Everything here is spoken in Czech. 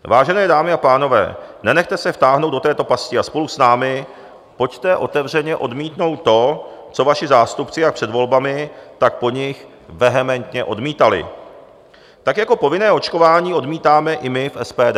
Vážené dámy a pánové, nenechte se vtáhnout do této pasti a spolu s námi pojďte otevřeně odmítnout to, co vaši zástupci jak před volbami, tak po nich vehementně odmítali, tak jako povinné očkování odmítáme i my v SPD.